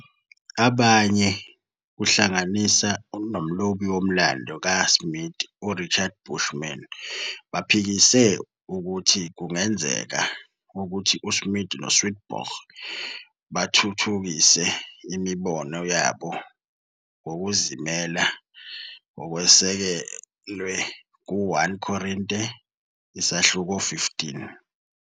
Abanye, kuhlanganise nomlobi womlando kaSmith uRichard Bushman baphikise ukuthi kungenzeka ukuthi uSmith noSwedborg bathuthukise imibono yabo ngokuzimela ngokusekelwe ku- 1 Korinte isahluko 15.